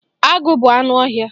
Agụ bụ anụ ọhịa.